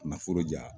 Nafolo di yan